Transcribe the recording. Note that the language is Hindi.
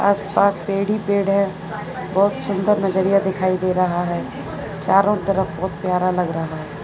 आस पास पेड़ ही पेड़ है बहोत सुंदर नजरिया दिखाई दे रहा है चारों तरफ बहोत प्यारा लग रहा है।